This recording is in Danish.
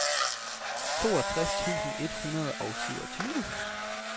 toogtres tusind et hundrede og syvogtyve